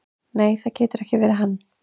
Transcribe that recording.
"""Nei, það getur ekki verið hann."""